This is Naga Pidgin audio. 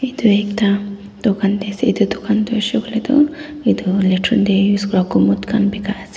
etu ekta dokan te ase etu dokan to hoise koile to etu latrine te use komat khan bikai ase.